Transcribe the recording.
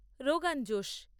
rogan josh